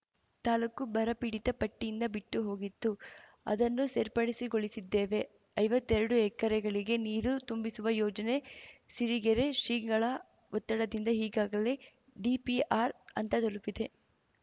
ತಾಲೂಕು ಬರಪೀಡಿತ ಪಟ್ಟಿಯಿಂದ ಬಿಟ್ಟು ಹೋಗಿತ್ತು ಅದನ್ನು ಸೇರ್ಪಡಿಸಿಗೊಳಿಸಿದ್ದೇವೆ ಐವತ್ತೆರಡು ಎಕರೆಗಳಿಗೆ ನೀರು ತುಂಬಿಸುವ ಯೋಜನೆ ಸಿರಿಗೆರೆ ಶ್ರೀಗಳ ಒತ್ತಡದಿಂದ ಈಗಾಗಲೇ ಡಿಪಿಆರ್‌ ಹಂತ ತಲುಪಿದೆ